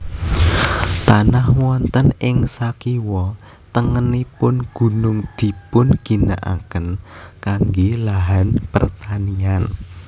Tanah wonten ing sakiwa tengenipun gunung dipun ginakaken kangge lahan pertanian